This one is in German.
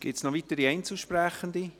Gibt es noch weitere Einzelsprechende?